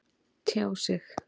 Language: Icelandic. Tjá sig